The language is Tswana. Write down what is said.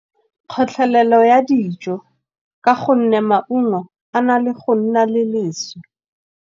Kgotlelelo ya dijo ka go nne maungo a na le go nna le leswe.